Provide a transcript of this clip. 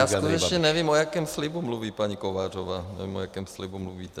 Já skutečně nevím, o jakém slibu mluví paní Kovářová, nebo o jakém slibu mluvíte.